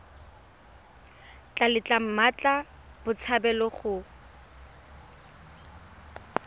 tla letla mmatla botshabelo go